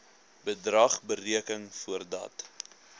bedrag bereken voordat